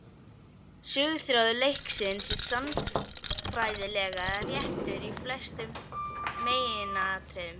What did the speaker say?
Söguþráður leiksins er sagnfræðilega réttur í flestum meginatriðum.